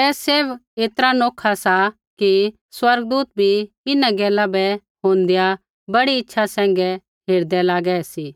ऐ सैभ ऐतरा नौखा सा कि स्वर्गदूत भी इन्हां गैला बै होंदेआ बड़ी इच्छा सैंघै हेरदै लागै सी